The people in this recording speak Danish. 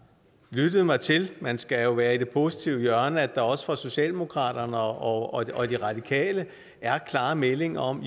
lyttet mig til man skal jo være i det positive hjørne at der også fra socialdemokratiet og og de radikale er klare meldinger om